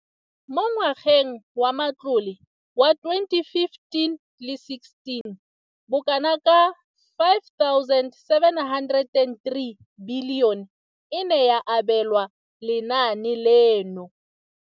Mo ngwageng wa matlole wa 2015,16, bokanaka R5 703 bilione e ne ya abelwa lenaane leno.